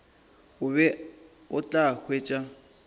o be o tla hwetša